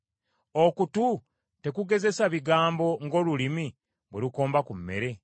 Okutu tekugezesa bigambo ng’olulimi bwe lukomba ku mmere?